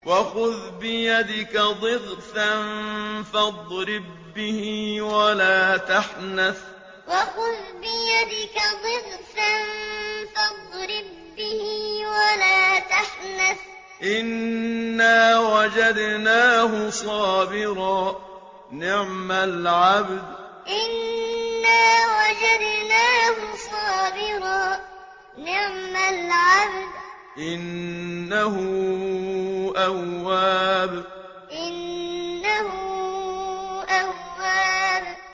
وَخُذْ بِيَدِكَ ضِغْثًا فَاضْرِب بِّهِ وَلَا تَحْنَثْ ۗ إِنَّا وَجَدْنَاهُ صَابِرًا ۚ نِّعْمَ الْعَبْدُ ۖ إِنَّهُ أَوَّابٌ وَخُذْ بِيَدِكَ ضِغْثًا فَاضْرِب بِّهِ وَلَا تَحْنَثْ ۗ إِنَّا وَجَدْنَاهُ صَابِرًا ۚ نِّعْمَ الْعَبْدُ ۖ إِنَّهُ أَوَّابٌ